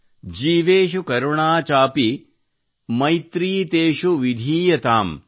ಜೀವೇಷು ಕರುಣಾಚಾಪಿ ಮೈತ್ರೀತೇಷು ವಿಧೀಯತಾಮ್